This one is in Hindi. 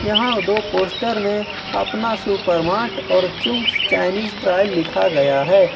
यहां दो पोस्टर में अपना सुपर मार्ट और चुंग्स चाइनीस ट्रायल लिखा गया है।